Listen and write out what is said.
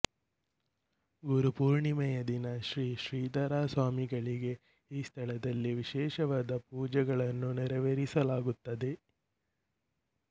ಗುರುಪೂರ್ಣಿಮೆಯ ದಿನ ಶ್ರೀ ಶ್ರೀಧರ ಸ್ವಾಮಿಗಳಿಗೆ ಈ ಸ್ಥಳದಲ್ಲಿ ವಿಶೇಷವಾದ ಪೂಜೆಯನ್ನು ನೆರವೇರಿಸಲಾಗುತ್ತದೆ